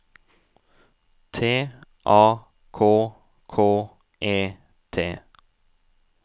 T A K K E T